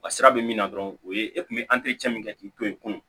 Wa sira bɛ min na dɔrɔn o ye e kun bɛ min kɛ k'i to yen kun